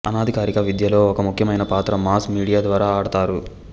అనధికారిక విద్యలో ఒక ముఖ్యమైన పాత్ర మాస్ మీడియా ద్వారా ఆడతారు